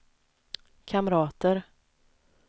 kamrater